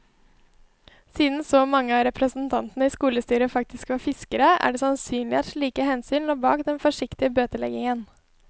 Siden så mange av representantene i skolestyret faktisk var fiskere, er det sannsynlig at slike hensyn lå bak den forsiktige bøteleggingen.